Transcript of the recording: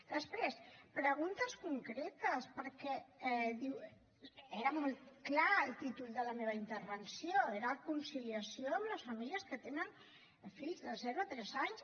després preguntes concretes perquè era molt clar el títol de la meva intervenció era conciliació amb les famílies que tenen fills de zero a tres anys